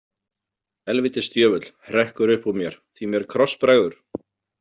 Helvítis djöfull, hrekkur upp úr mér því mér krossbregður.